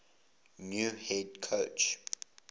new head coach